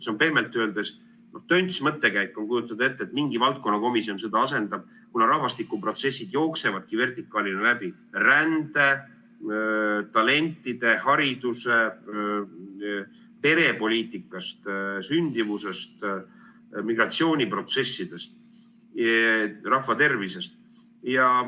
See on pehmelt öeldes tönts mõttekäik kujutada ette, et mingi valdkonnakomisjon seda asendab, kuna rahvastikuprotsessid jooksevadki vertikaalina läbi rände-, talentide-, haridus- ja perepoliitikast, sündimusest, migratsiooniprotsessidest, rahvatervisest.